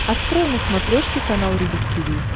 открой на смотрешке канал рубль ти ви